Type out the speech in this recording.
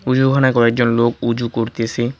ওই যে ওখানে কয়েকজন লোক উজু করতেসে।